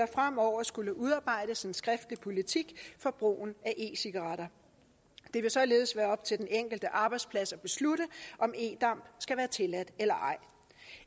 fremover skulle udarbejdes en skriftlig politik for brugen af e cigaretter det vil således være op til den enkelte arbejdsplads at beslutte om e damp skal være tilladt eller ej